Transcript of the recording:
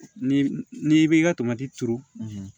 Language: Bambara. Ni n'i bɛ ka tomati turu